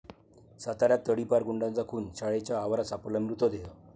साताऱ्यात तडीपार गुंडाचा खून, शाळेच्या आवारात सापडला मृतदेह